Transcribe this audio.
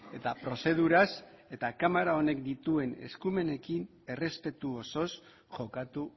eta prozeduraz eta kamara honek dituen eskumenekin errespetu osoz jokatu